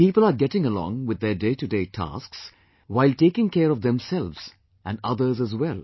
People are getting along with their day to day tasks, while taking care of themselves and others as well